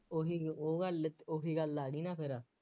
ਉਹੀ ਲ ਉਹ ਵਾਲੇ ਲ ਉਹੀ ਗੱਲ ਆ ਗਈ ਨਾ ਫੇਰ